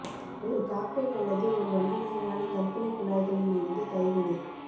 ஒரு காக்டெய்ல் அல்லது ஒரு வண்ணமயமான கற்பனைக் குழாய்களில் இருந்து கைவினை